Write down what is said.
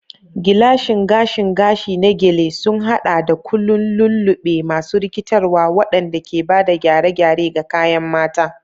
Gilashin gashin gashi na Gele sun haɗa da ƙullun lulluɓe masu rikitarwa, waɗanda ke ba da gyare-gyare ga kayan mata.